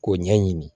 K'o ɲɛɲini